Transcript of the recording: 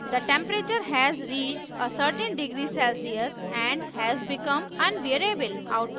the temperature has reached a certain degree celcius and has become unbearable output दर्शाने के लिए